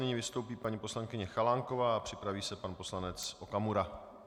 Nyní vystoupí paní poslankyně Chalánková a připraví se pan poslanec Okamura.